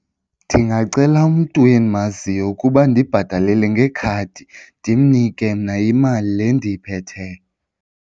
Ndingacela umntu endimaziyo ukuba andibhatalele ngekhadi ndimnike mna imali le endiziphetheyo.